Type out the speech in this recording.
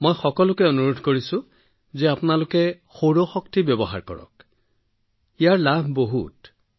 আমি সকলোকে কম যদিও নিজৰ ধনেৰে সৌৰ প্ৰণালী স্থাপন কৰক তথাপিও যথেষ্ট লাভ আছে